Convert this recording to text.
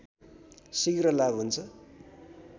शीघ्र लाभ हुन्छ